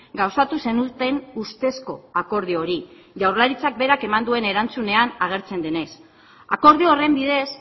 gauzatu zenuten ustezko akordio hori jaurlaritzak berak eman duen erantzunean agertzen denez akordio horren bidez